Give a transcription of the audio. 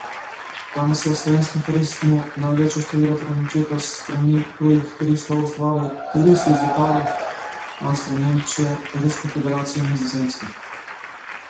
Danes v slovenskem turizmu največje število prenočitev s strani tujih turistov ustvarijo turisti iz Italije, Avstrije, Nemčije, Ruske federacije in Nizozemske.